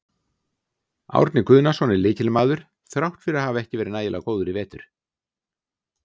Árni Guðnason er lykilmaður þrátt fyrir að hafa ekki verið nægilega góður í vetur.